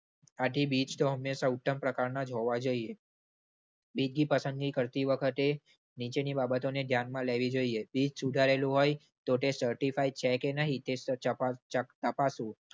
આથી બીજ તો હંમેશા ઉત્તમ પ્રકારના જ હોવા જોઈએ. બીજની પસંદગી કરતી વખતે નીચેની બાબતોને ધ્યાનમાં લેવી જોઈએ. બીજ સુધારેલું હોય તો તે certified છે કે નહીં તે ચપાચકતપાસવું.